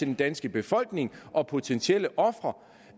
den danske befolkning og potentielle ofre